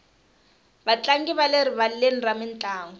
vatlangi va le rivaleni ra mintlangu